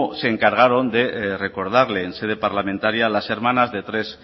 se encargaron de recordarle en sede parlamentaria las hermanas de tres